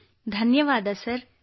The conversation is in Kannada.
ಕೃತ್ತಿಕಾ ಧನ್ಯವಾದ ಸರ್